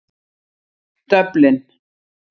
Dublin